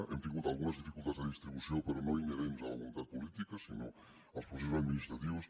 hem tingut algunes dificultats de distribució però no inherents a la voluntat política sinó als processos administratius